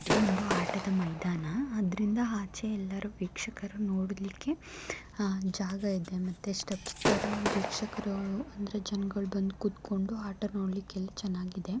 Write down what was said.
ಇದು ಒಂದು ಆಟದ ಮೈದಾನ ಆದ್ದರಿಂದ ಆಚೆ ವೀಕ್ಷಕರು ನೋಡೋದಕ್ಕೆ ಜಾಗ ಇದೆ ಅಂದ್ರೆ ಜನಗಳು ಆಟವನ್ನು ನೋಡಲು ಎಲ್ಲಾ ಚೆನ್ನಾಗಿದೆ.